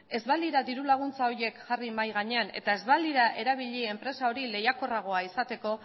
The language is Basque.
ez balira diru laguntza horiek jarri mahai gainean eta ez balira erabili enpresa hori lehiakorragoa izateko